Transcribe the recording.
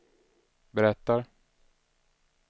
berättar